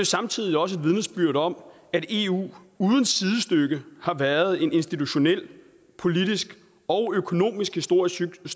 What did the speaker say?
samtidig også et vidnesbyrd om at eu uden sidestykke har været en institutionel politisk og økonomisk stor succes